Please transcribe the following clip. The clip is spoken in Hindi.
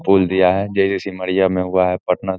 पुल दिया है जो जो श्रीमया में हुआ है पटना --